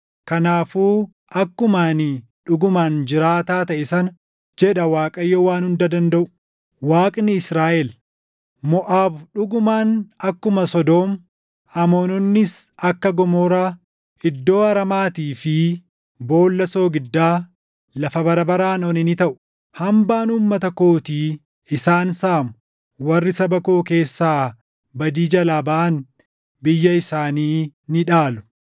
Kanaafuu akkuma ani dhugumaan jiraataa taʼe sana” jedha Waaqayyo Waan Hunda Dandaʼu, Waaqni Israaʼel; “Moʼaab dhugumaan akkuma Sodoom, Amoononnis akka Gomoraa, iddoo aramaatii fi boolla soogiddaa, lafa bara baraan one ni taʼu. Hambaan uummata kootii isaan saamu; warri saba koo keessaa badii jalaa baʼan biyya isaanii ni dhaalu.”